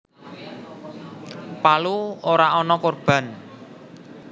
Palu ora ana korban